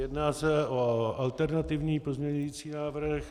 Jedná se o alternativní pozměňovací návrh.